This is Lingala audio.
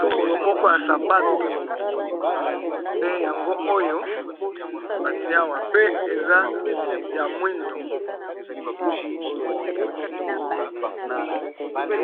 lokolo moko ya sapato nde yango oyo ba tié awa, pe eza ya moyndo .